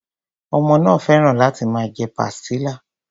Ọmọ náà féràn láti máa jẹ pastilla.